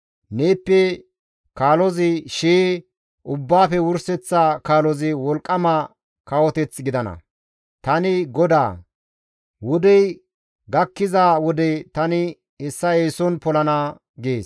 Neeppe kaalozi shii, ubbaafe wurseththa kaalozi wolqqama kawoteth gidana; Tani GODAA; wodey gakkiza wode tani hessa eeson polana» gees.